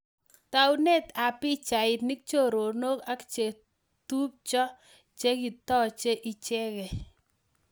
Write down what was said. Taunet ap pichainik .choronok ak chetupchoo cheketochee ichegei